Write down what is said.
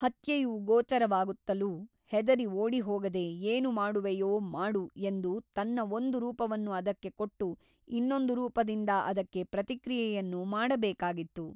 ಹತ್ಯೆಯು ಗೋಚರವಾಗುತ್ತಲೂ ಹೆದರಿ ಓಡಿಹೋಗದೆ ಏನು ಮಾಡುವೆಯೋ ಮಾಡು ಎಂದು ತನ್ನ ಒಂದು ರೂಪವನ್ನು ಅದಕ್ಕೆ ಕೊಟ್ಟು ಇನ್ನೊಂದು ರೂಪದಿಂದ ಅದಕ್ಕೆ ಪ್ರತಿಕ್ರಿಯೆಯನ್ನು ಮಾಡಬೇಕಾಗಿತ್ತು.